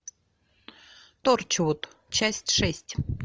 торчвуд часть шесть